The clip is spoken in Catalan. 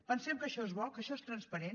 pensem que això és bo que això és transparent